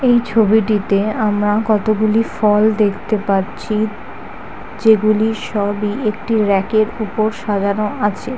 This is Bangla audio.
এই ছবিটিতে আমরা কতগুলি ফল দেখতে পাচ্ছি যেগুলি সবই একটি র‍্যাকের উপর সাজানো আছে।